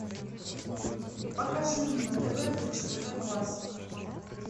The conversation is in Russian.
покажи мне на тв бридж тв классик